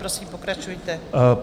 Prosím, pokračujte.